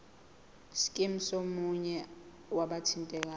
scheme somunye wabathintekayo